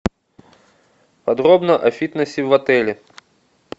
подробно о фитнесе в отеле